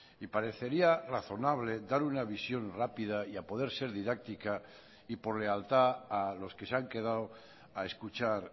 y parecería razonable dar una visión rápida y a poder ser didáctica y por lealtad a los que se han quedado a escuchar